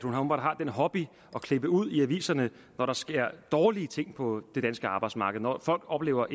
hun åbenbart har den hobby at klippe ud fra aviserne når der sker dårlige ting på det danske arbejdsmarked når folk oplever